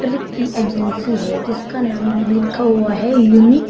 की एजेंसी है जिसका नाम लिखा हुआ है यूनिट --